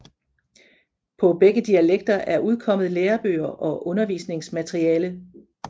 På begge dialekter er udkommet lærebøger og undervisningsmateriale